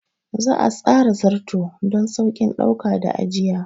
Za a tsara Zarto don sauƙin ɗauka da ajiya.